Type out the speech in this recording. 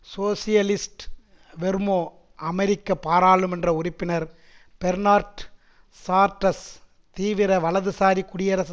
socialist Vermont அமெரிக்க பாராளுமன்ற உறுப்பினர் பெர்னார்ட் சார்ட்டஸ் தீவிர வலது சாரி குடியரசு